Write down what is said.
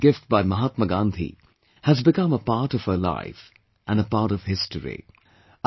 A small gift by Mahatma Gandhi, has become a part of her life and a part of history